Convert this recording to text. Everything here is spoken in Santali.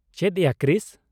ᱪᱮᱫ ᱭᱟ, ᱠᱨᱤᱥ!